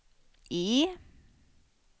E